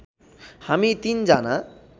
हामी तिन जना